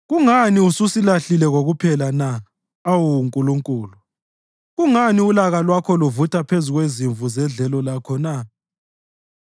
Kungani ususilahlile kokuphela na, awu Nkulunkulu? Kungani ulaka lwakho luvutha phezu kwezimvu zedlelo lakho na?